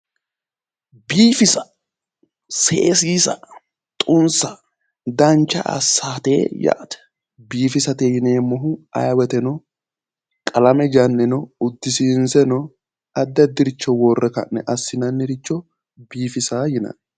Biiffisa ,seesissa xunsa dancha assate yaate, biiffisate yinneemmohu ayee woyteno qalame janneno uddisinseeno addi addiricho worre ka'ne assinanniricho biifisa yinnanni.